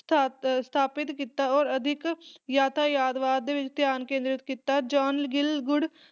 ਸਥਾ ਅਹ ਸਥਾਪਿਤ ਕੀਤਾ ਔਰ ਅਧਿਕ ਯਥਾਰਥਵਾਦ ਦੇ ਵਿੱਚ ਧਿਆਨ ਕੇਂਦ੍ਰਿਤ ਕੀਤਾ। John Gielgud